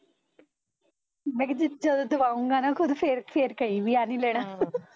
ਮੈਂ ਕਿਹਾ ਜਿੱਥੇ ਤੂੰ ਦਵਾਊਗਾ ਨਾ ਖੁਦ ਫੇਰ ਫੇਰ ਕਹਿ ਵੀ ਆਹ ਨੀ ਲੈਣਾ ਹਮ